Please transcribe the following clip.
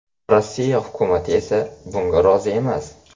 Rossiya hukumati esa bunga rozi emas.